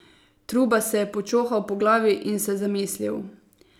Truba se je počohal po glavi in se zamislil.